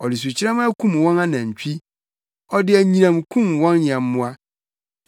Ɔde sukyerɛmma kum wɔn anantwi ɔde anyinam kum wɔn nyɛmmoa.